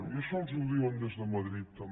i això els ho diuen des de madrid també